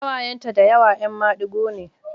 Ƙawayenta da yawa ‘yan madigo ne.